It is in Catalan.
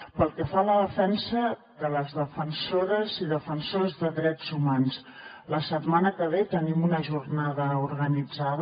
pel que fa a la defensa de les defensores i defensors de drets humans la setmana que ve tenim una jornada organitzada